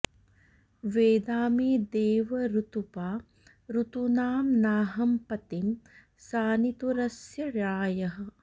वेदा मे देव ऋतुपा ऋतूनां नाहं पतिं सनितुरस्य रायः